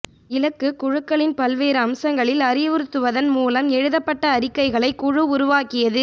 இலக்கு குழுக்களின் பல்வேறு அம்சங்களில் அறிவுறுத்துவதன் மூலம் எழுதப்பட்ட அறிக்கைகளை குழு உருவாக்கியது